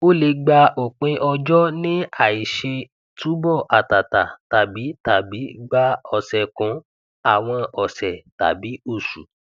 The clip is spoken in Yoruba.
ó lè gba òpin ọjọ ní àìṣe túbọ àtàtà tàbí tàbí gbà ọsẹkùn àwọn ọsẹ tàbí oṣù